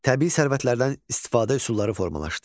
Təbii sərvətlərdən istifadə üsulları formalaşdı.